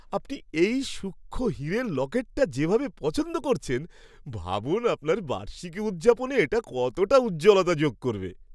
আপনি এই সূক্ষ্ম হীরের লকেটটা যেভাবে পছন্দ করছেন, ভাবুন আপনার বার্ষিকী উদযাপনে এটা কতটা উজ্জ্বলতা যোগ করবে।